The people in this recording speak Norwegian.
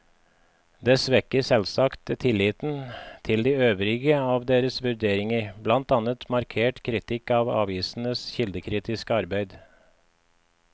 Det svekker selvsagt tilliten til de øvrige av deres vurderinger, blant annet markert kritikk av avisenes kildekritiske arbeid.